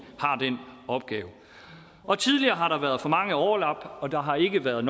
har den opgave tidligere har der været for mange overlap og der har ikke været